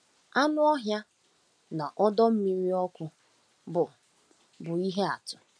Anụ ọhịa na ọdọ mmiri ọkụ bụ bụ ihe atụ.